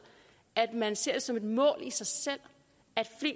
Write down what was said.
at man ser det som et mål i sig selv at